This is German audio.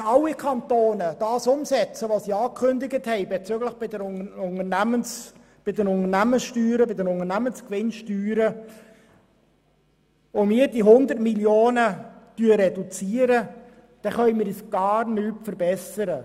Wenn alle Kantone umsetzen, was sie bezüglich der Unternehmensgewinnsteuern angekündigt haben und wir diese 100 Mio. Franken reduzieren, dann können wir uns gar nicht verbessern.